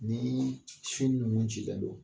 Nii sin nunnu cilen don